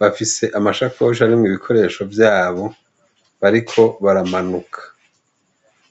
bafise amashakoshi arimwe ibikoresho vyabo bariko baramanuka iizaihagaa.